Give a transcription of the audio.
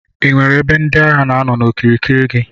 Inwere ebe ndi agha na anọ n'okirikiri gi.